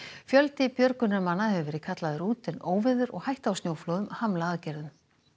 fjöldi björgunarmanna hefur verið kallaður út en óveður og hætta á snjóflóðum hamla aðgerðum